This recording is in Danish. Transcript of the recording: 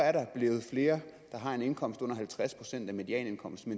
at der er blevet flere der har en indkomst under halvtreds procent af medianindkomsten